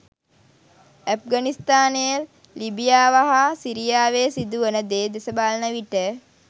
ඇෆ්ඝනිස්තානය ලිබියාව හා සිරියාවේ සිදුවන දේ දෙස බලන විට